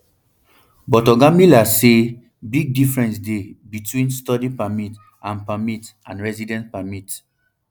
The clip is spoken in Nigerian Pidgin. but oga miller say big difference dey between study permit and permit and residence permit